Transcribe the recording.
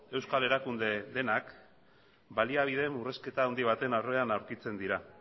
euskal erakunde denak baliabide murrizketa handi baten aurrean aurkitzen dira